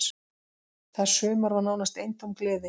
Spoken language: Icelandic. Það sumar var nánast eintóm gleði.